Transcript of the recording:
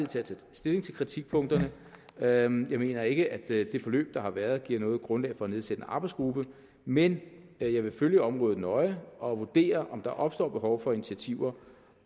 til at tage stilling til kritikpunkterne og jeg mener ikke at det forløb der har været giver noget grundlag for at nedsætte en arbejdsgruppe men jeg vil følge området nøje og vurdere om der opstår behov for initiativer